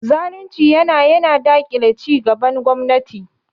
Zalunci yana yana daƙile cigaban gwamnati.